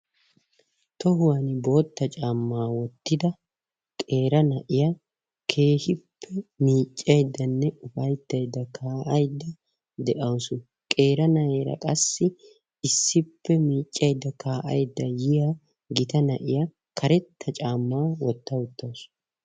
Tohuwan bootta caamma wottida qeera na'iyaa keehippe miiccayddanne ufayttaydda, kaa'aiydda dawusu, qeeri naa'eera qassi issippe miiccaydda kaa'aydda yiya gita nayiya karetta caammaa wotta uttawusu.